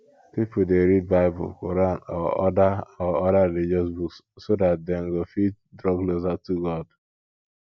pipo dey read bible quran or oda or oda religious book so dat dem go fit draw closer to god